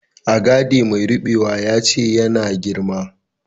Agade mai rubewa ya ce ya na girma.